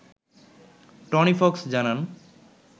Tony Fox জানান